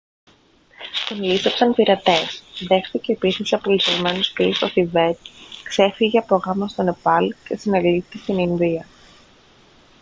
τον λήστεψαν πειρατές δέχθηκε επίθεση από λυσσασμένο σκύλο στο θιβέτ ξέφυγε από γάμο στο νεπάλ και συνελήφθη στην ινδία